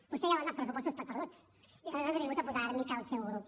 vostè ja dóna els pressupostos per perduts i aleshores ha vingut a posar àrnica al seu grup